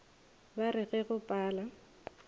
ba re ge go pala